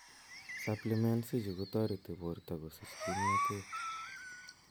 Supplements ichu kotoreti borto kosich kimnotet